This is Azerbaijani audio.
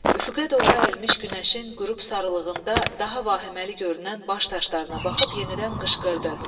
Üfüqə doğru əyilmiş günəşin qürub sarılığında daha vahiməli görünən baş daşlarına baxıb yenidən qışqırdı.